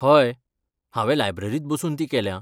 हय, हांवें लायब्ररींत बसून ती केल्या.